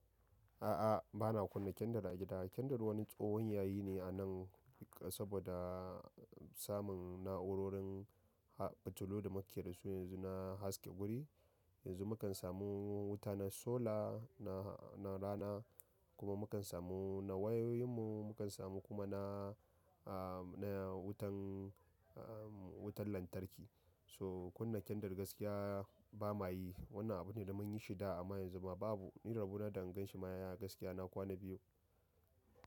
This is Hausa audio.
A'a, ba na kunna kendir a gida. Kendir wani tsohon yayi ne a nan sabo da samun na'urorin fitilu damu ke da su yanzu na haska wuri. Yanzu mukan samu wuta na sola, na rana kuma mukan samu na wayoyin mu, mukan samu kuma na, na wutan, wutan lantarki. To kunna kendir gaskiya ba mayi. Wannan abu ne da munyi shi da amma yanzu babu. Ni rabu na da in ganshi maya gaskiya na kwana biyu.